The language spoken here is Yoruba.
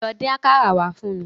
Lọ dín àkàrà wá fún mi.